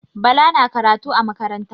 Bala na karatu a makaranta.